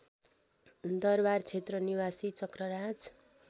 दरबारक्षेत्र निवासी चक्रराज